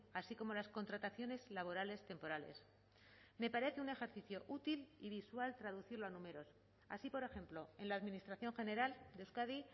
así como las contrataciones laborales temporales me parece un ejercicio útil y visual traducirlo a números así por ejemplo en la administración general de euskadi